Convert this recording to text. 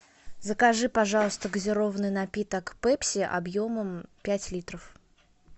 закажи пожалуйста газированный напиток пепси объемом пять литров